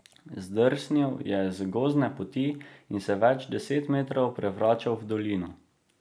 Zdrsnil je z gozdne poti in se več deset metrov prevračal v dolino.